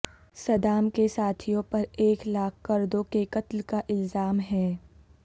Saddam کے ساتھیوں پر ایک لاکھ کردوں کے قتل کا الزام ہے